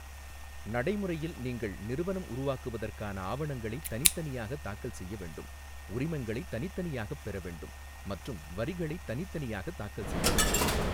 நடைமுறையில், நீங்கள் நிறுவனம் உருவாக்குவதற்கான ஆவணங்களைத் தனித்தனியாகத் தாக்கல் செய்ய வேண்டும், உரிமங்களைத் தனித்தனியாகப் பெற வேண்டும், மற்றும் வரிகளைத் தனித்தனியாகத் தாக்கல் செய்ய வேண்டும்.